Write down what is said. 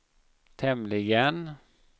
tämligen